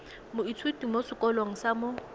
moithuti mo sekolong sa mo